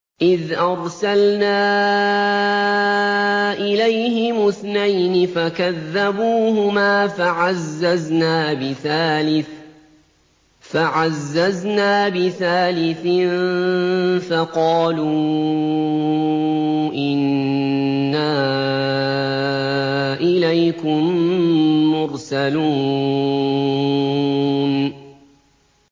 إِذْ أَرْسَلْنَا إِلَيْهِمُ اثْنَيْنِ فَكَذَّبُوهُمَا فَعَزَّزْنَا بِثَالِثٍ فَقَالُوا إِنَّا إِلَيْكُم مُّرْسَلُونَ